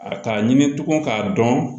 A k'a ɲini tugun k'a dɔn